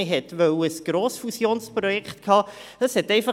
Man wollte ein Fusionsprojekt daraus machen.